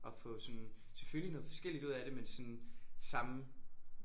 Og få sådan selvfølgelig noget forskelligt ud af det men sådan samme